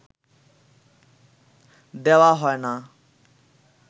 দেওয়া হয় না